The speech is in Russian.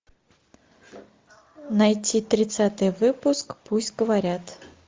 найти тридцатый выпуск пусть говорят